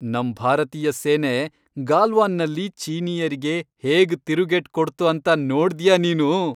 ನಮ್ ಭಾರತೀಯ ಸೇನೆ ಗಾಲ್ವಾನ್ನಲ್ಲಿ ಚೀನೀಯರಿಗೆ ಹೇಗ್ ತಿರುಗೇಟ್ ಕೊಡ್ತು ಅಂತ ನೋಡ್ದ್ಯಾ ನೀನು?